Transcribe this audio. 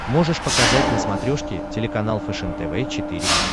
можешь показать на смотрешке телеканал фэшен тв четыре к